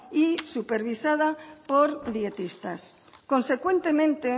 y supervisada por dietistas consecuentemente